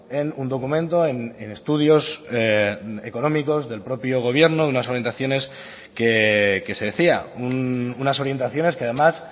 en un documento en estudios económicos del propio gobierno de unas orientaciones que se decía unas orientaciones que además